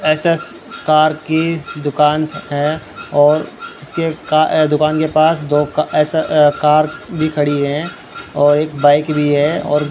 S S car की दुकान है और उसके का ए दुकान के पास दो का एसा कार भी खड़ी है और एक बाइक भी है और --